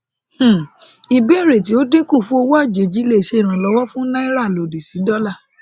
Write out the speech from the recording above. um ìbéèrè tí ó dínkù fún owó àjèjì lè ṣe ìrànlówọ fún náírà lòdì sí dọlà